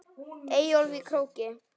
Eyjólf í Króki.